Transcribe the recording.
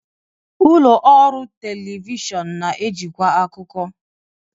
Ụlọ ọrụ telivishọn na-ejikwa akụkọ.